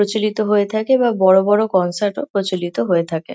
প্রচলিত হয়ে থাকে বা বড় বড় কনসার্ট -ও প্রচলিত হয়ে থাকে।